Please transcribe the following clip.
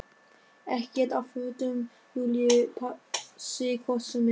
Ekkert af fötum Júlíu passi hvort sem er.